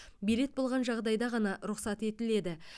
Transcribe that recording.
билет болған жағдайда ғана рұқсат етіледі